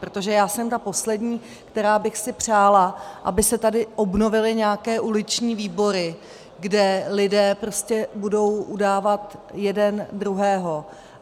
Protože já jsem ta poslední, která bych si přála, aby se tady obnovily nějaké uliční výbory, kde lidé prostě budou udávat jeden druhého.